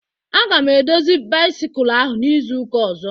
A ga m edozi bisikul ahụ n'izuka ozo